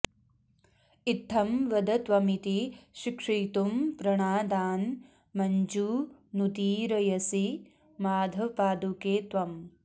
इत्थं वद त्वमिति शिक्षयितुं प्रणादान् मञ्जूनुदीरयसि माधवपादुके त्वम्